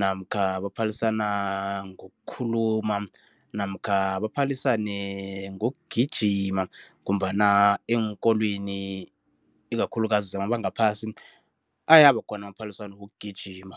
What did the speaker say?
namkha baphalisana ngokukhuluma namkha baphalisane ngokugijima ngombana eenkolweni ikakhulukazi zamabanga aphasi ayabakhona amaphaliswano wokugijima.